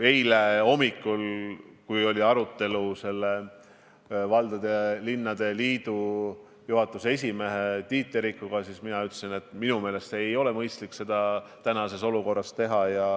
Eile hommikul, kui oli arutelu valdade ja linnade liidu juhatuse esimehe Tiit Terikuga, siis ma ütlesin, et minu meelest ei ole mõistlik seda praeguses olukorras teha.